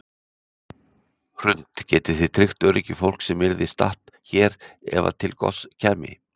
Hrund: Getið þið tryggt öryggi fólks sem yrði statt hér ef að til goss kæmi?